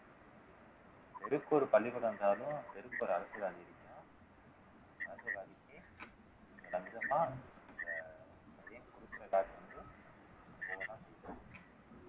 தெருவுக்கு ஒரு பள்ளிக்கூடம் இருந்தாலும் தெருவுக்கு ஒரு அரசியல்வாதி